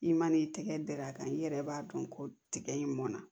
I man'i tɛgɛ dɛrɛ a kan i yɛrɛ b'a dɔn ko tigɛ in mɔnna